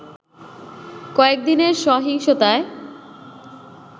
কয়েকদিনের সহিংসতায়